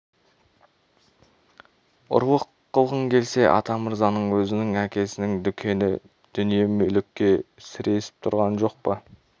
ұрлық қылғың келсе атамырзаның өзінің әкесінің дүкені дүние-мүлікке сіресіп тұрған жоқ па